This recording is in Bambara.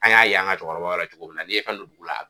An y'a y'an ka cɛkɔrɔbaw la cogo min na, n'i ye fɛn don dugu la